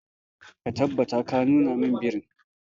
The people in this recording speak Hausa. Ka tabbatar ka nuna min birin.